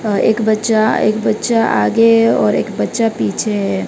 अ एक बच्चा एक बच्चा आगे और एक बच्चा पीछे है।